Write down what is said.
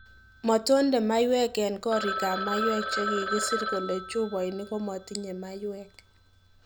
"Matonde maywek en korigab mayweek chegigisir kole chupaini komatinye maywek."